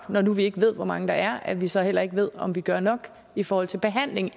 når nu vi ikke ved hvor mange der er altså at vi så heller ikke ved om vi gør nok i forhold til behandling